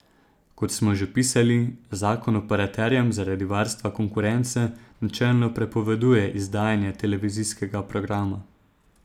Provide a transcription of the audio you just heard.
Kot smo že pisali, zakon operaterjem zaradi varstva konkurence načelno prepoveduje izdajanje televizijskega programa.